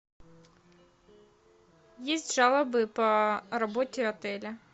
есть жалобы по работе отеля